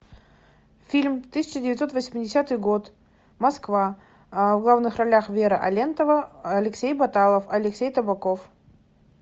фильм тысяча девятьсот восьмидесятый год москва в главных ролях вера алентова алексей баталов алексей табаков